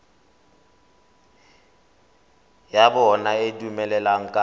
ya bona e dumelaneng ka